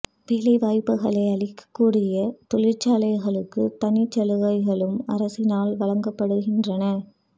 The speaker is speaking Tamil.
வேலை வாய்ப்புகளை அளிக்கக்கூடிய தொழிற்சாலைகளுக்கு தனிச் சலுகைகளும் அரசினால் வழங்கப்படுகின்றன